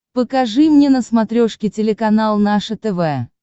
покажи мне на смотрешке телеканал наше тв